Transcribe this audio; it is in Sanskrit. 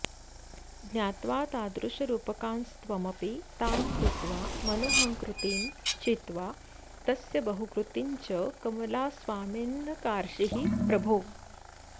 ज्ञात्वा तादृशरूपकांस्त्वमपि तान् कृत्वा मनोहङ्कृतिं छित्त्वा तस्य बहूकृतिं च कमलास्वामिन्नकार्षीः प्रभो